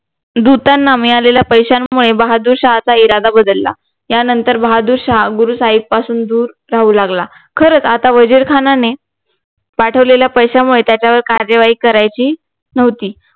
दूतांना मिळालेल्या पैशानमुळे बहादूर शाह चा इरादा बदला त्यानंतर बहादूर शाह गुरु साहिब पासून दूर राहू लागला खरंच आता वजीर खानाने पाठवलेल्या पैशामुळे त्यांच्यावर कार्यवाही करायची नव्हती